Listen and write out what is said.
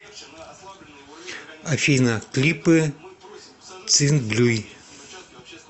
афина клипы цинблюй